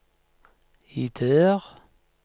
ideer